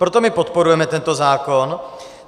Proto my podporujeme tento zákon.